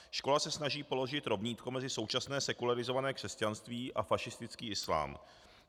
Škola se snaží položit rovnítko mezi současné sekularizované křesťanství a fašistický islám.